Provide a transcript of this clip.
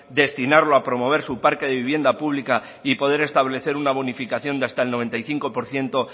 destinarlo a promover su parque de vivienda pública y poder establecer una bonificación de hasta el noventa y cinco por ciento